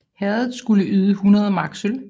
Herredet skulle yde 100 mark sølv